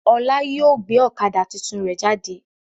Ọlá yìí ó gbé ọ̀kadà tuntun rẹ jáde.